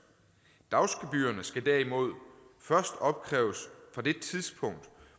dagsgebyrerne skal derimod først opkræves fra det tidspunkt